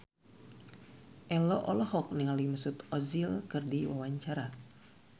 Ello olohok ningali Mesut Ozil keur diwawancara